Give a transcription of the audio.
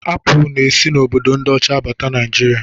Apụl na-esi n'obodo ndị ọcha abata Naịjiria.